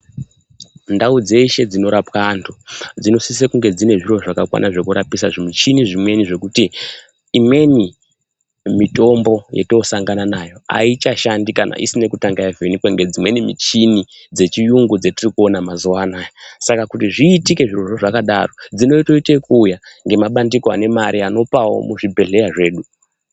Ndau dzeshe dzinorapwa antu dzinosisokunge dzine zviro zvakakwana zvekurapisa zvimuchini zvemweni zvekuti imweni mitombo yetinosagana nayo haichashandi kana isina kutanga yavhenekwa ngemichini dzechiyungu dzetirikuona mazuwaanaya . Saka kuti zviitike zvirozvo zvakadaro dzinotoite ekuuya nemabandika ane mare anopawo muzvibhedhleya zvedu .